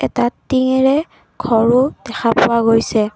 এটা টিংঙেৰে ঘৰো দেখা পোৱা গৈছে।